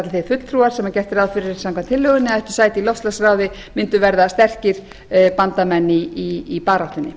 þeir fulltrúar sem gert er ráð fyrir samkvæmt tillögunni ættu sæti í loftslagsráði mundu verða sterkir bandamenn í baráttunni